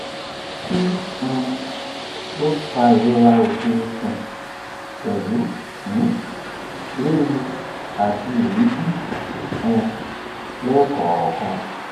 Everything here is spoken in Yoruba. kí um ló ń fa ìrora oke ikun pelu um riru ati eebi um lẹẹkọọkan